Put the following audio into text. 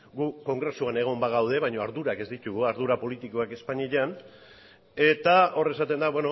gu kongresuan egon bagaude baino ardurak ez ditugu ardura politikoak espainian eta hor esaten da